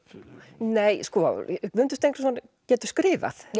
nei sko Guðmundur Steingrímsson getur skrifað